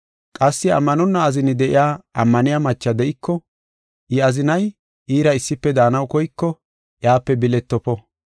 Qassi ammanonna azini de7iya ammaniya macha de7iko, I azinay iira issife daanaw koyko iyape biletofo.